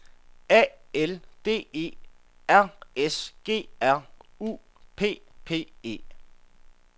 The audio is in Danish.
A L D E R S G R U P P E